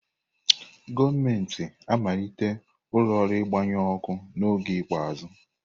Gọọmentị malitere ụlọ ọrụ mgbanyụ ọkụ n'oge ikpeazụ.